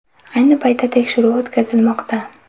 Ayni paytda tekshiruv o‘tkazilmoqda.